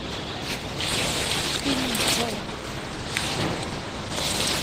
фильм джой